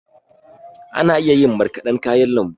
Ana iya yin marƙadan kayan lambu.